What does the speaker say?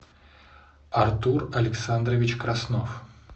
артур александрович краснов